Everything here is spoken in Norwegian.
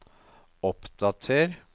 oppdater